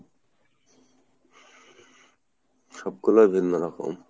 সব গুলো ভিন্ন রকম